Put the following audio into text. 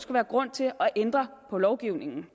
være grund til at ændre lovgivningen